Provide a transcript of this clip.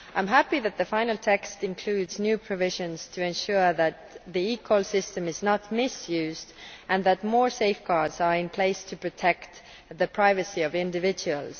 I am happy that the final text includes new provisions to ensure that the eCall system is not misused and that more safeguards are in place to protect the privacy of individuals.